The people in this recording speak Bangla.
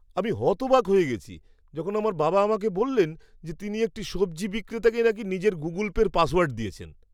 আমি হতবাক হয়ে গেছি যখন আমার বাবা আমাকে বললেন যে তিনি একটি সবজি বিক্রেতাকে নাকি নিজের গুগুল পের পাসওয়ার্ডটা দিয়েছেন!